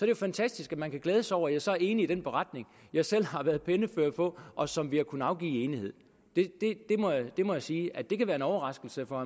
jo fantastisk at man kan glæde sig over at jeg så er enig i den beretning jeg selv har været pennefører på og som vi har kunnet afgive i enighed det må jeg sige at det kan være en overraskelse for